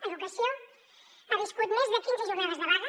educació ha viscut més de quinze jornades de vaga